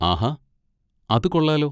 ആഹാ, അത് കൊള്ളാലോ.